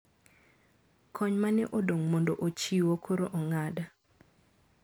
Kony ma ne odong` mondo ochiwo koro ong`ad.